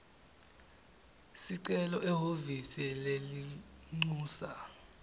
sicelo ehhovisi lelincusa